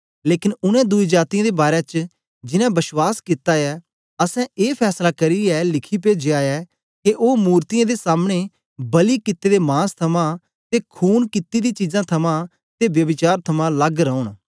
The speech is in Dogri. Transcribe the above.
लेकन उनै दुई जातीयें दे बारै च जिनैं विश्वास कित्ता ऐ असैं ए फैसला करियै लिखी पेजया ऐ के ओ मूरतयें दे सामने बलि कित्ते दे मांस थमां ते खून किती दी चीजां थमां ते ब्यभिचार थमां लग्ग रौन